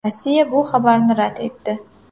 Rossiya bu xabarni rad etdi.